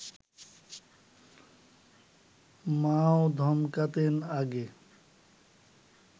মাও ধমকাতেন আগে